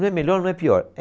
Não é melhor, não é pior. É